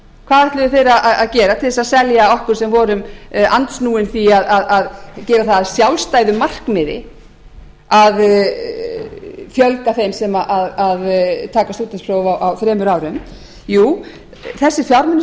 hvað ætluðu þeir að geta til þess að selja okkur sem vorum andsnúin því að gera það að sjálfstæðu markmiði að fjölga þeim sem taka stúdentspróf á þremur árum jú þessir fjármunir